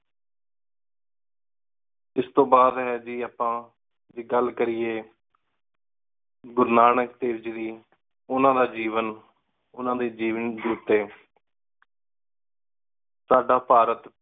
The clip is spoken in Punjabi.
ਇਸ ਤੋ ਬਾਦ ਹੈ ਜੀ ਆਪਾ ਜੇ ਗਲ ਕਰੀਏ ਗੁਰੂ ਨਾਨਕ ਦੇਵਜੀ ਦੀ । ਓਹਨਾ ਦਾ ਜੀਵਨ, ਓਹਨਾ ਦੇ ਜੀਵਨ ਉਤੇ। ਸਾਡਾ ਭਾਰਤ